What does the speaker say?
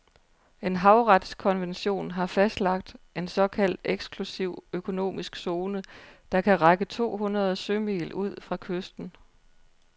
En havretskonvention har fastlagt en såkaldt eksklusiv økonomisk zone, der kan række to hundrede sømil ud fra kysten.